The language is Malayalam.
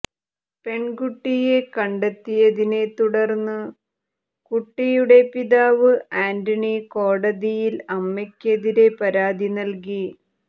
പെൺകുട്ടിയെ കണ്ടെത്തിയതിനെ തുടർന്നു കുട്ടിയുടെ പിതാവ് ആന്റണി കോടതിയിൽ അമ്മയ്ക്കെതിരെ പരാതി നൽകി